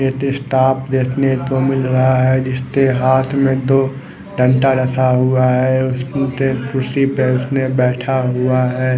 एक स्टाफ देखने को मिल रहा है जिसके हाथ में दो रखा हुआ है खुर्ची पे उसने बैठा हुआ है।